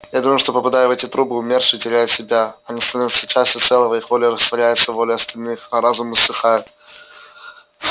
я думаю что попадая в эти трубы умершие теряют себя они становятся частью целого их воля растворяется в воле остальных а разум иссыхает